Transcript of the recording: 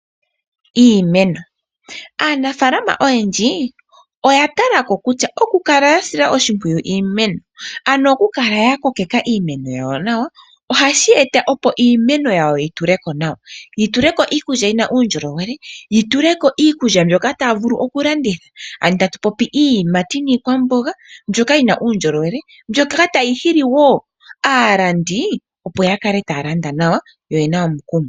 Iimeno, aanafalama oyendji oya ta lako kutya oku kala yasila oshimpwiyu iimeno, ano oku kala ya ko keka iimeno yawo nawa ohashi eta opo iimeno yawo yi tu leko nawa, yi tuleko iikulya yina uundjolowele, yi tuleko iikulya mbyoka taya vulu oku landitha. Ano tatu popi iiyimati niikwamboga mbyoka yina uundjolowele, mbyoka ta yihi li wo aalandi opo ya kale taya landa nawa yo oyena omukumo.